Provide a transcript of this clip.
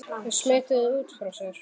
Þau smituðu út frá sér.